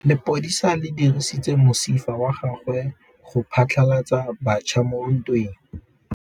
Lepodisa le dirisitse mosifa wa gagwe go phatlalatsa batšha mo ntweng.